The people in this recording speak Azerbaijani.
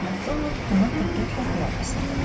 Makdonald ona diqqətlə qulaq asırdı.